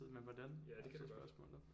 Ja det kan det godt